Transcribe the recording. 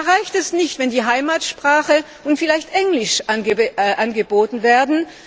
Es reicht nicht, wenn die Heimatsprache und vielleicht Englisch angeboten werden.